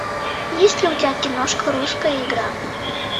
есть ли у тебя киношка русская игра